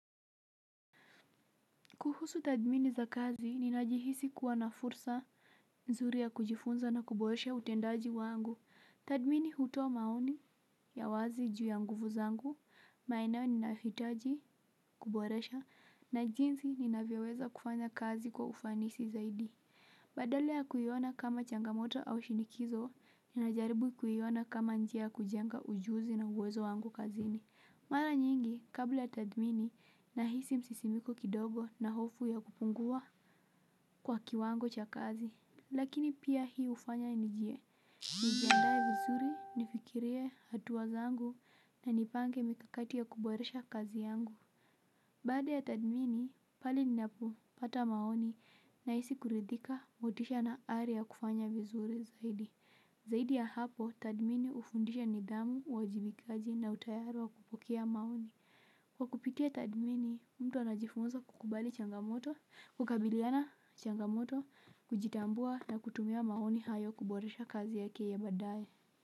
Kuhusu tathmini za kazi, ninajihisi kuwa na fursa nzuri ya kujifunza na kuboresha utendaji wangu. Tathmini hutoa maoni, ya wazi juu ya nguvu zangu, maeneo ninayohitaji kuboresha, na jinsi ninavyoweza kufanya kazi kwa ufanisi zaidi. Badala ya kuiona kama changamoto au shinikizo, ninajaribu kuiona kama njia ya kujenga ujuzi na uwezo wangu kazini. Mara nyingi kabla ya tathmini nahisi msisimiko kidogo na hofu ya kupungua kwa kiwango cha kazi. Lakini pia hii hufanya nijie. Nijiandae vizuri, nifikirie hatua zangu na nipange mikakati ya kuboresha kazi yangu. Baada ya tathmini, pale ninapopata maoni nahisi kuridhika motisha na ari ya kufanya vizuri zaidi. Zaidi ya hapo, tathmini hufundisha nidhamu uwajibikaji na utayari wa kupokea maoni. Kwa kupitia tathmini, mtu anajifunza kukubali changamoto, kukabiliana changamoto, kujitambua na kutumia maoni hayo kuboresha kazi yake ya baadaye.